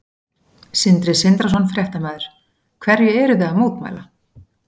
Sindri Sindrason, fréttamaður: Hverju eruð þið að mótmæla?